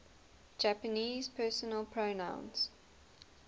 japanese personal pronouns